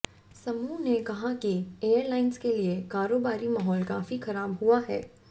समूह ने कहा कि एयरलाइंस के लिए कारोबारी माहौल काफी खराब हुआ है